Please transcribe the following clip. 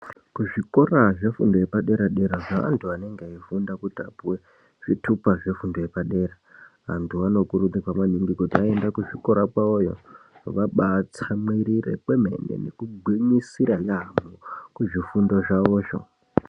Kuzvikora zvefundo yepadera-dera zveantu anenge eifunda kuti apuwe zvitupa zvefundo yepadera antu anokurudzirwa maningi kuti vaenda kuzvikora kwavoyo vabatsamwiiride kwemene nekugwinyisira yaamho kuzvifundo zvavozvo.